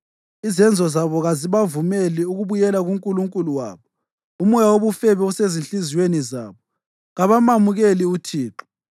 Izenzo zabo kazibavumeli ukubuyela kuNkulunkulu wabo. Umoya wobufebe usezinhliziyweni zabo; kabamamukeli uThixo.